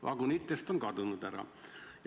"Vagunitest" on ära kadunud.